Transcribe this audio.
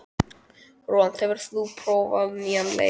Rólant, hefur þú prófað nýja leikinn?